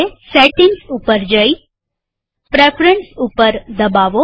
setting ઉપર જઈ preference ઉપર દબાવો